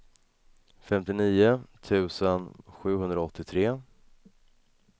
femtionio tusen sjuhundraåttiotre